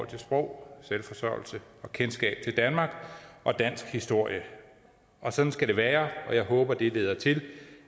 til sprog selvforsørgelse og kendskab til danmark og dansk historie og sådan skal det være og jeg håber at det leder til